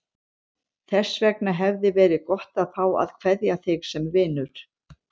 Þess vegna hefði verið gott að fá að kveðja þig sem vinur.